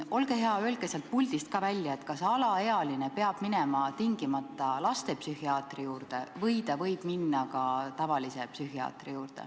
Olge hea, öelge ka sealt puldist välja, kas alaealine peab minema tingimata lastepsühhiaatri juurde või ta võib minna ka tavalise psühhiaatri juurde.